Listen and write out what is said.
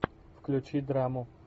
включи драму